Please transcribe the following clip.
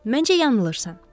Məncə yanılırsan.